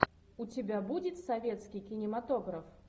у тебя будет советский кинематограф